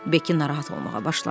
Beki narahat olmağa başladı.